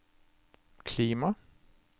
klima